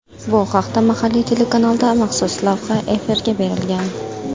Bu haqda mahalliy telekanalda maxsus lavha efirga berilgan .